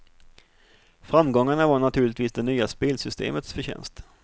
Framgångarna var naturligtvis det nya spelsystemets förtjänst.